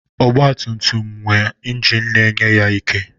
Ọgbatumtum na-enwe ingin na-enye ya ike.